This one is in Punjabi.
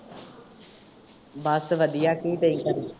ਬੱਸ ਵਧੀਆ ਕੀ ਚਾਹੀਦਾ।